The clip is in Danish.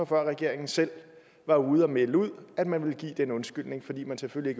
før regeringen selv var ude at melde ud at man ville give den undskyldning fordi man selvfølgelig